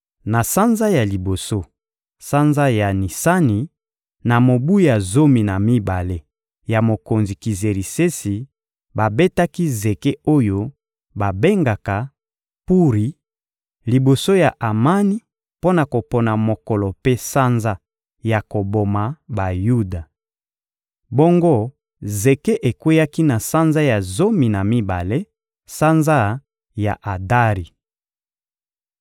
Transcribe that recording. Na sanza ya liboso, sanza ya Nisani, na mobu ya zomi na mibale ya Mokonzi Kizerisesi, babetaki zeke oyo babengaka «Puri» liboso ya Amani mpo na kopona mokolo mpe sanza ya koboma Bayuda. Bongo zeke ekweyaki na sanza ya zomi na mibale, sanza ya Adari.